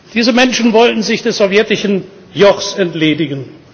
Diese Menschen wollten sich des sowjetischen Jochs entledigen.